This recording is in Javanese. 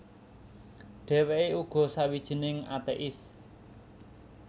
Dhèwèké uga sawijining atéis